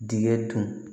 Dingɛ dun